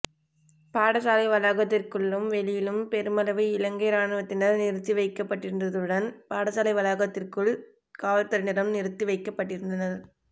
பாடசாலை வளாகத்திற்குள்ளும் வெளியிலும் பெருமளவு இலங்கை இராணுவத்தினர் நிறுத்தி வைக்கப்பட்டிருந்ததுடன் பாடசாலை வளாகத்திற்குள் காவல்துறையினரும் நிறுத்தி வைக்கப்பட்டிருந்தனர்